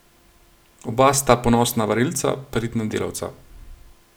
Oba sta ponosna varilca, pridna delavca.